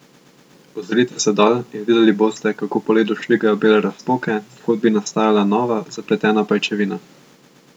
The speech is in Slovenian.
Ozrite se dol in videli boste, kako po ledu švigajo bele razpoke, kot bi nastajala nora, zapletena pajčevina.